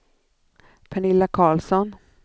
Pernilla Carlsson